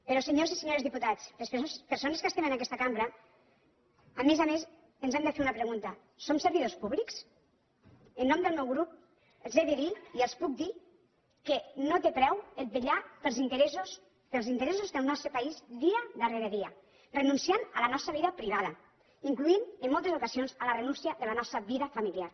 però senyors i senyores diputats les persones que estem en aquesta cambra a més a més ens hem de fer una pregunta som servidors públics en nom del meu grup els he de dir i els puc dir que no té preu vetllar pels interessos del nostre país dia darrere dia renunciant a la nostra vida privada incloent hi en molts ocasions la renúncia de la nostra vida familiar